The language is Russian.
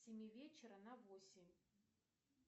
с семи вечера на восемь